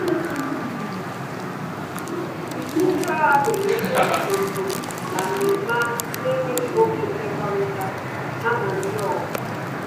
Ndị agha mere ihe n'usoro na mmemme ahụ na enweghị oké mmekọrịta ha na ndị oha